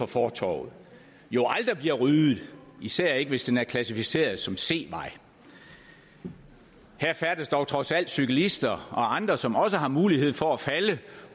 fortovet jo aldrig bliver ryddet især ikke hvis den er klassificeret som c vej her færdes dog trods alt cyklister og andre som også har mulighed for at falde